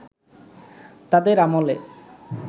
তাদের আমলে